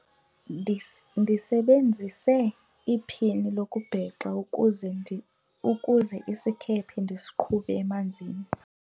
ndisebenzise iphini lokubhexa ukuze isikhephe ndisiqhube emanzini